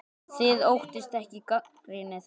Þið óttist ekki gagnrýni þeirra?